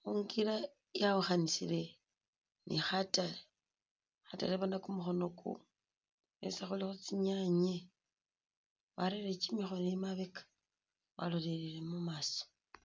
khulukila yawukhanisile ni khatale, khatale bona kumukhonoku khulikho tsinyaanye warere kimikhono emabeka walolelele mumaso